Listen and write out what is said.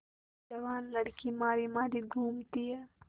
जवान लड़की मारी मारी घूमती है